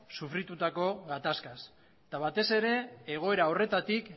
sufritutako gatazkaz eta batez ere egoera horretatik